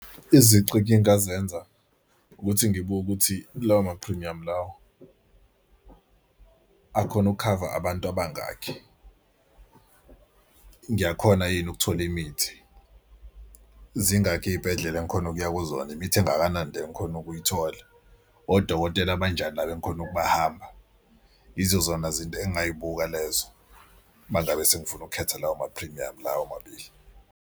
Izici engingazenza ukuthi ngibuke ukuthi lawo maphrimuyami lawo akhona ukukhava abantu abangakhi? Ngiyakhona yini ukuthola imithi? Zingakhi iy'bhedlela engikhona ukuya kuzona? Imithi engakanani le engikhona ukuyithola? Odokotela abanjani laba engikhona ukubahamba? Izozona izinto engingayibuka lezo uma ngabe sengifuna ukukhetha lawo maphimuyamu lawo mabili.